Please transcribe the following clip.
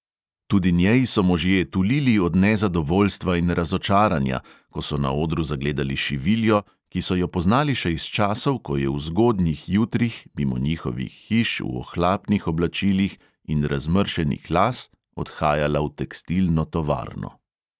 Tudi njej so možje tulili od nezadovoljstva in razočaranja, ko so na odru zagledali šiviljo, ki so jo poznali še iz časov, ko je v zgodnjih jutrih mimo njihovih hiš v ohlapnih oblačilih in razmršenih las odhajala v tekstilno tovarno.